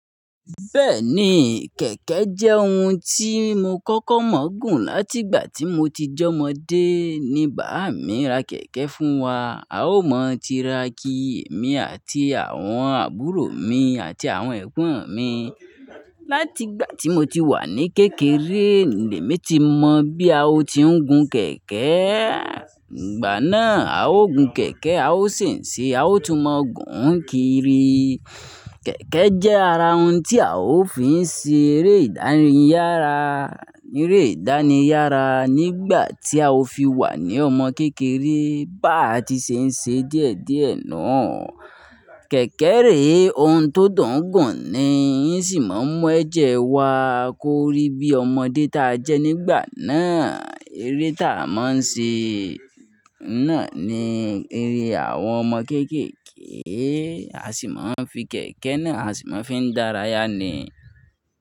Bẹ́ẹ̀ni, kẹ̀kẹ́ jẹ́ ohun tí mo kọ́kọ́ mọ̀ gùn látì'gbà tí mo ti j'ọ́mọ̀dé. Ni báàmi ra kẹ̀kẹ́ fún wa, a ó mọ̀ tira ki èmi àti àwọn àbúrò mi àti àwọn ẹ̀gbón mi. Látì'gbà tí mo ti wà ní kékeré, lèmí ti mọ bí a ó ti ń gun kẹ̀kẹ́. Ìgbà náà a ó gun kẹ̀kẹ́, a ó sì ń ṣe, a ó tún mọ̀ gùn kiri. Kẹ̀kẹ́ jẹ́ ara ohun tí a ó fi ń ṣe eré ìdánìyàrá, eré ìdánìyàrá nígbà tí a ó fi wà ní ọmọ kékeré. Báà tí ṣe ń ṣe díẹ̀díẹ̀ náà, kẹ̀kẹ́ rè, ohun tó dùn gùn ni, ín sì mọ̀ ń mú ẹ̀jẹ̀ wa kó rí bí ọmọdé ta jẹ́ nígbà náà. Eré ta a mọ̀ ń ṣe náà ni eré àwọn ọmọ kéékèèké. A sì máa ń fi kẹ̀kẹ́ náà, a sì máa ń fi dárayà ni.